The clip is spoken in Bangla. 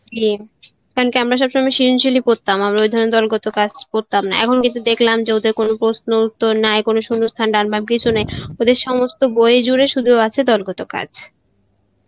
কারণ কি আমরা সবসময় সৃজনশীল ই পড়তাম ওই ধরনের দলগত কাজ করতাম না, এখন কিন্তু দেখলাম ওদের কোনো প্রশ্ন উত্তর নাই কোনো, সুন্ন্হস্থান ডান বাম কিছুই নাই ওদের সমস্ত বই জুড়ে আছে শুধু দলগত কাজ